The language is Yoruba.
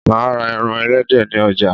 Máa ra eran elédè ni ojà